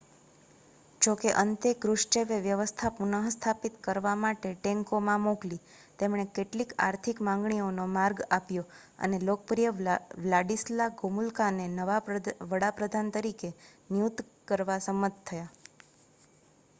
જોકે અંતે ક્રુશચેવે વ્યવસ્થા પુનઃસ્થાપિત કરવા માટે ટેન્કોમાં મોકલી તેમણે કેટલીક આર્થિક માંગણીઓનો માર્ગ આપ્યો અને લોકપ્રિય વ્લાડિસ્લા ગોમુલકાને નવા વડા પ્રધાન તરીકે નિયુક્ત કરવા સંમત થયા